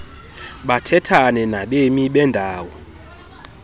bathethane nabemi bendawo